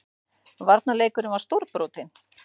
Varnarleikurinn var stórbrotinn